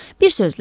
Bir sözlə.